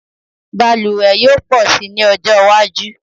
Balùwẹ̀ yóò pọ̀ si ní ọjọ́ iwájú